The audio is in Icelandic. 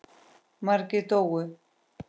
Margir dóu.